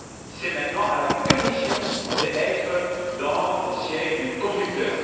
C'est maintenant à la Commission d'occuper le siège du conducteur.